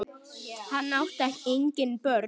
Hann átti engin börn.